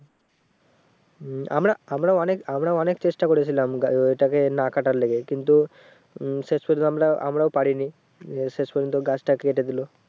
আমরা আমরা অনেক আমরা অনেক চেষ্টা করেছিলাম ওই টাকে না কাটার লেগে কিন্তু উম শেষ পর্যন্ত আমরা আমরাও পারিনি উহ শেষ পর্যন্ত গাছটাও কেটে দিলো